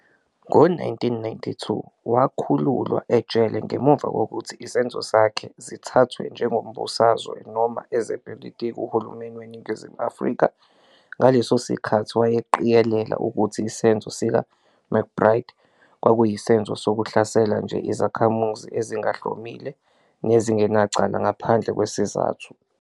Ngo-1992, wakhululwa ejele ngemuva kokuthi izenzo zakhe zithathwe njengezombusazwe noma ezepolitiki. Uhulumeni weNingizimu Afrika, ngaleso sikhathi, wayeqikelela ukuthi isenzo sikaMcBride kwakuyisenzo sokuhlasela nje izakhamizi ezingahlomile nezingenacala ngaphandle kwesizathu.